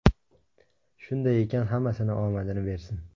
Shunday ekan hammasini omadini bersin.